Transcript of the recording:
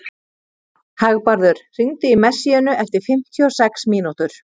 Hagbarður, hringdu í Messíönu eftir fimmtíu og sex mínútur.